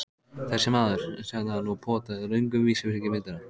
Þessi maður, sagði hann og potaði löngum vísifingri í myndina.